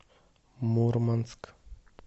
мурманск